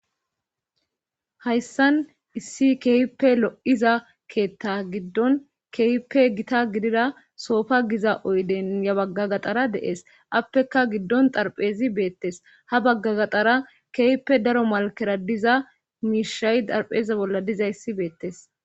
hayssan issi keehippe lo7iza keetta giddon keehippe gita gidida soofa giza oyden ya bagga gaxara dees appeka giddon darphezi beettes ha baggagaxara keehippe daro malkera diza miishay darpheze bolla diza issi beettes